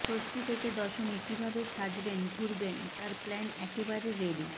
ষষ্ঠী থেকে দশমী কিভাবে সাজবেন ঘুরবেন তার প্ল্যান একেবারে রেডি